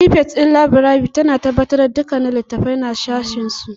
Frifet ɗin laburare tana tabbatar da duk littattafai na sashinsu